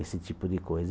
Esse tipo de coisa.